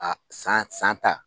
A san san ta,